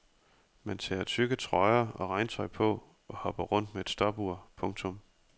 Man tager tykke trøjer og regntøj på og hopper rundt med et stopur. punktum